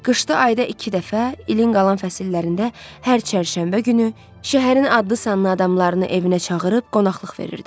Qışda ayda iki dəfə, ilin qalan fəsillərində hər çərşənbə günü şəhərin adlı-sanlı adamlarını evinə çağırıb qonaqlıq verirdi.